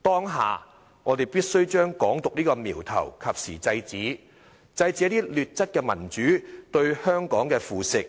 當下我們必須將"港獨"這個苗頭及時制止，制止一些劣質民主對香港的腐蝕，